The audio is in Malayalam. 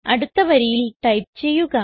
അടുത്ത വരിയിൽ ടൈപ്പ് ചെയ്യുക